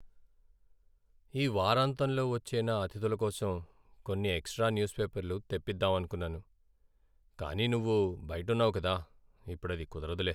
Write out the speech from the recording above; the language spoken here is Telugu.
ఈ వారాంతంలో వచ్చే నా అతిథుల కోసం కొన్ని ఎక్స్ట్రా న్యూస్ పేపర్లు తెప్పిదామనుకున్నాను, కానీ నువ్వు బయట ఉన్నావు కదా, ఇప్పుడది కుదరదులే.